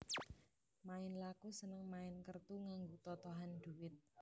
Main laku seneng main kertu nganggo totohan dhuwit